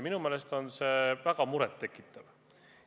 Minu meelest on see väga muret tekitav.